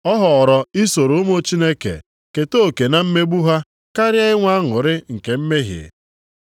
Ọ họọrọ isoro ụmụ Chineke keta oke na mmegbu ha karịa inwe aṅụrị nke mmehie.